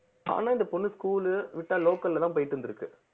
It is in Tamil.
ஆனா இந்த பொண்ணு school விட்டா local லதான் போயிட்டு இருந்திருக்கு